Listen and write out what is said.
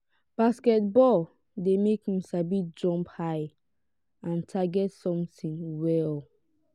basketball de make me sabi jump high and target something well